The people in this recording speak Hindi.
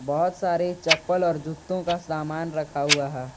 बहुत सारे चप्पल और जूते का सामान रखा हुआ है।